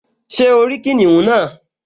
Ṣé o rí kìnìún náà?